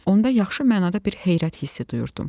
Onda yaxşı mənada bir heyrət hissi duyurdum.